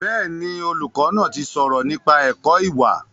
Bẹ́ẹ̀ni, olùkọ́ náà ti sọ̀rọ̀ nípa ẹ̀kọ́ ìwà